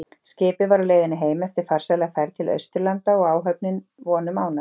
Skipið var á leiðinni heim eftir farsæla ferð til Austurlanda og áhöfnin að vonum ánægð.